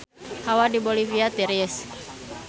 Hawa di Bolivia tiris